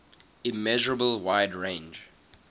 immeasurable wide range